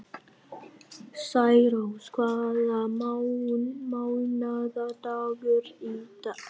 Særós, hvaða mánaðardagur er í dag?